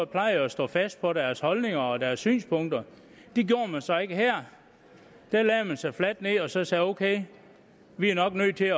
plejer jo at stå fast på deres holdninger og deres synspunkter det gjorde man så ikke her der lagde man sig fladt ned og sagde ok vi er nok nødt til